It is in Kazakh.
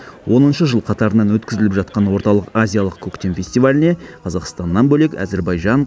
оныншы жыл қатарынан өткізіліп жатқан орталық азиялық көктем фестиваліне қазақстаннан бөлек әзербайжан